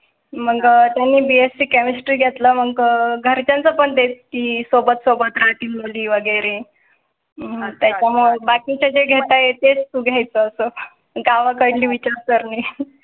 मग तुम्ही BSC Chemistry घेतला. मग घरच्यांच्या पण ते ती सोबत सोबत साठी मुली वगैरे. हां, त्याच्या मग बाकी च्या जे घेता येते घ्याय चं गावाकडे विचारसरणी.